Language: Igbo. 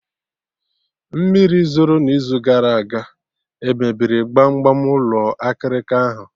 Mmiri zoro na izu gara aga emebiri gbam gbam ụlọ akịrịka ahụ?